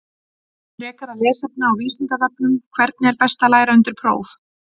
Frekara lesefni á Vísindavefnum: Hvernig er best að læra undir próf?